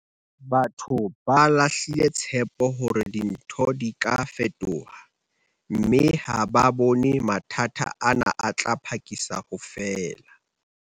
Batho ba lahlile tshepo hore dintho di ka fetoha, mme ha ba bone mathata ana a tla phakisa ho fela.